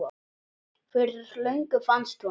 Fyrir löngu fannst honum.